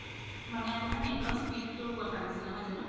মানে আপুনাৰ net তুৰ speed ৰ কথা কইছে ন্হই জানো